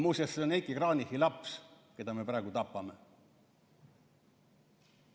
Muuseas, see on Heiki Kranichi laps, keda me praegu tapame.